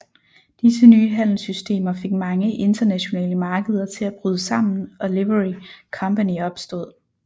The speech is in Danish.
Disse nye handelssystemer fik mange internationale markeder til at bryde sammen og Livery Company opstod